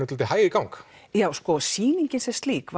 svolítið hæg í gang já sýningin sem slík